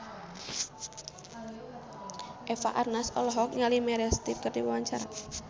Eva Arnaz olohok ningali Meryl Streep keur diwawancara